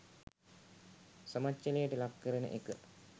සමච්චලයට ලක් කරන එක.